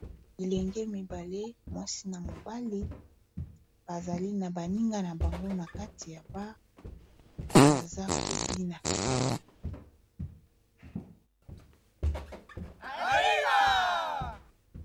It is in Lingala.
Bilenge mibale mwasi na mobali bazali na baninga na bango na kati ya bar baza kobina.